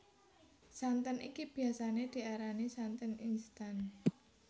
Santen iki biyasané diarani santen instan